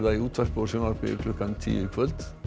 í útvarpi og sjónvarpi klukkan tíu í kvöld og